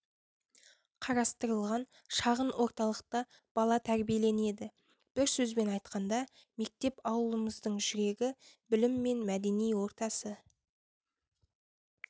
қарастырылған шағын орталықта бала тәрбиеленеді бір сөзбен айтқанда мектеп ауылымыздың жүрегі білім мен мәдени ортасы